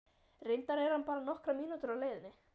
Reyndar er hann bara nokkrar mínútur á leiðinni.